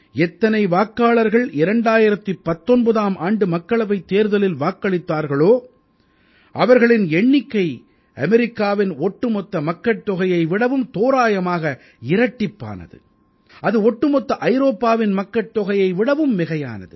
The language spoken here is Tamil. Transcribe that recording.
எத்தனை வாக்காளர்கள் 2019ஆம் ஆண்டு மக்களவைத் தேர்தலில் வாக்களித்தார்களோ அவர்களின் எண்ணிக்கை அமெரிக்காவின் ஒட்டுமொத்த மக்கட்தொகையை விடவும் தோராயமாக இரட்டிப்பானது அது ஒட்டுமொத்த ஐரோப்பாவின் மக்கட்தொகையை விடவும் மிகையானது